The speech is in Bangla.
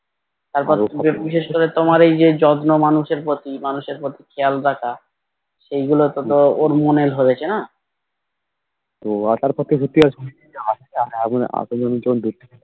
তারপর বিশেষ করে তোমার ওই যে যত্ন মানুষের প্রতি মানুষের প্রতি খেয়াল রাখা সেই গুলো তো ওর মনে ধরেছে না